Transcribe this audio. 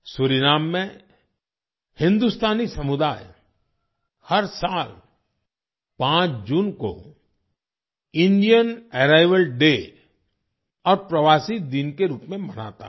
Suriname में हिन्दुस्तानी समुदाय हर साल 5 जून को इंडियन अराइवल डे और प्रवासी दिन के रूप में मनाता है